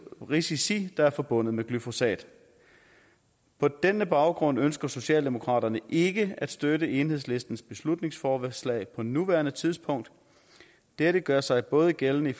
risici der er forbundet med glyfosat på den baggrund ønsker socialdemokraterne ikke at støtte enhedslistens beslutningsforslag på nuværende tidspunkt dette gør sig både gældende